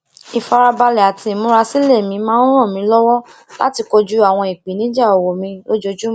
ifarabale ati imurasile mi máa ń ran mi lowo lati kojú àwọn ìpèníjà owo mi lójoojúmó